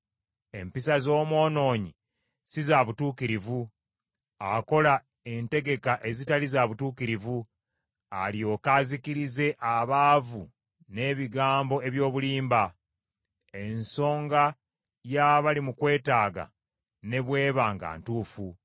Empisa z’omwonoonyi si za butuukirivu. Akola entegeka ezitali za butuukirivu, alyoke azikirize abaavu n’ebigambo eby’obulimba, ensonga y’abali mu kwetaaga ne bw’eba nga ntuufu.